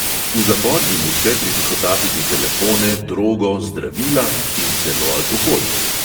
V zapor jim uspe pritihotapiti telefone, drogo, zdravila in celo alkohol.